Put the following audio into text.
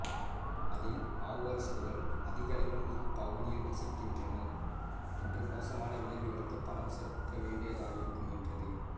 அதில் மாவோயிஸ்டுகள் அதிகளவில் இப்பகுதியில்ப வசிக்கின்றனா் என்றும் மோசமான விளைவுகளுக்கு பணம் செலுத்த வேண்டியதாயிருக்கும் என்றது